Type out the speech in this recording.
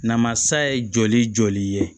Namasa ye joli joli ye